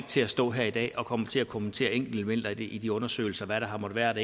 til at stå her i dag og kommentere kommentere enkeltelementer i de undersøgelser hvad der har måttet være